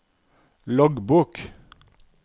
loggbok